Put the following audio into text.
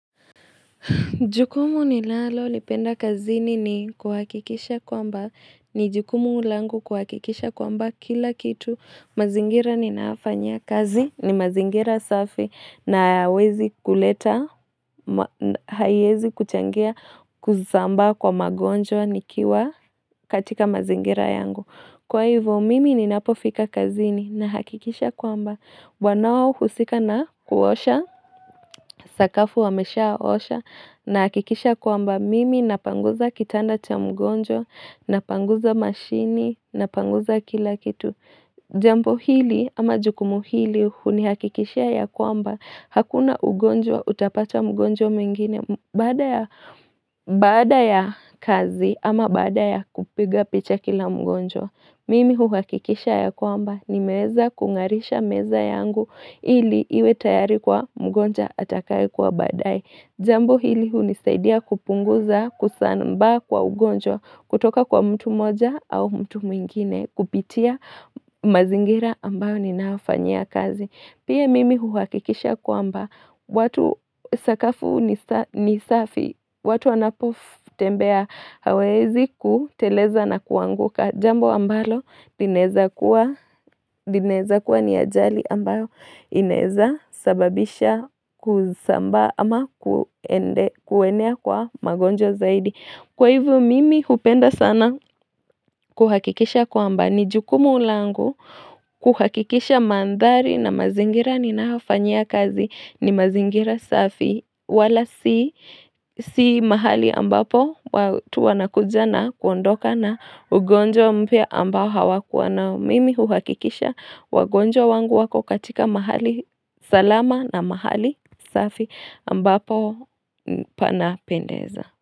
Jukumu nilalolipenda kazini ni kuhakikisha kwamba ni jukumu langu kuhakikisha kwamba kila kitu mazingira ninayofanya kazi ni mazingira safi na hayawezi kuleta haiezi kuchangia kuzambaa kwa magonjwa nikiwa katika mazingira yangu. Kwa hivyo mimi ninapofika kazini na hakikisha kwamba Wanaohusika na kuosha, sakafu wameshaosha na hakikisha kwamba mimi napanguza kitanda cha mgonjwa Napanguza mashini, napanguza kila kitu Jambo hili ama jukumu hili hunihakikishia ya kwamba Hakuna ugonjwa utapata mgonjwa mwingine Baada ya kazi ama baada ya kupiga picha kila mgonjwa Mimi huhakikisha ya kwamba nimeweza kungarisha meza yangu ili iwe tayari kwa mgonjwa atakae kwa baadaye. Jambo hili hunisaidia kupunguza kusambaa kwa ugonjwa kutoka kwa mtu moja au mtu mwingine kupitia mazingira ambayo ninaofanyia kazi. Pia mimi huhakikisha kwamba watu sakafu ni safi, watu wanapotembea hawawezi kuteleza na kuanguka jambo ambalo linaeza kuwa ni ajali ambayo inaeza sababisha kuzambaa ama kuenea kwa magonjwa zaidi. Kwa hivyo mimi hupenda sana kuhakikisha kwamba ni jukumu langu kuhakikisha mandhari na mazingira ninaofanyia kazi ni mazingira safi wala si mahali ambapo watu wanakuja na kuondoka na ugonjwa mpya ambao hawakua nao mimi huhakikisha wagonjwa wangu wako katika mahali salama na mahali safi ambapo panapendeza.